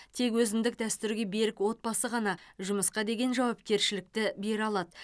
тек өзіндік дәстүрге берік отбасы ғана жұмысқа деген жауапкершілікті бере алады